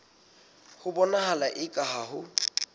ho bonahala eka ha ho